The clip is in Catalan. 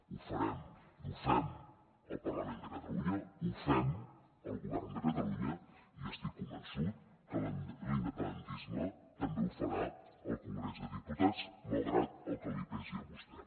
ho farem ho fem al parlament de catalunya ho fem al govern de catalunya i estic convençut que l’independentisme també ho farà al congrés dels diputats malgrat el que li pesi a vostè